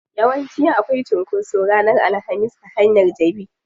Yawanci akwai cunkoso ranar alhamis a hanyar jabi.